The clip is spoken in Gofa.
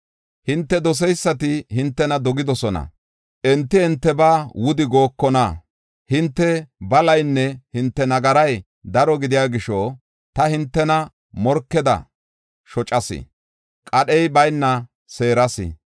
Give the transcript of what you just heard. Hinte doseysati hintena dogidosona; enti hintebaa wuda gookona. Hinte balaynne hinte nagaray daro gidiya gisho, ta hintena morkeda shocas; qadhey bayna seeras.